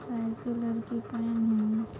ऐसी लड़की है।